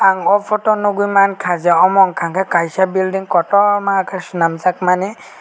ang o photo o nogoimangkha je amo wngka ke kaisa belding kotorma ke chelamjak mani.